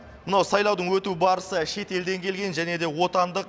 мынау сайлаудың өту барысы шетелден келген және де отандық